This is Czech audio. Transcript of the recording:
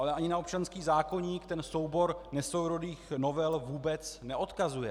Ale ani na občanský zákoník ten soubor nesourodých novel vůbec neodkazuje.